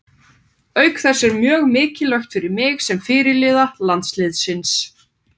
Auk þess er það mjög mikilvægt fyrir mig sem fyrirliða landsliðsins.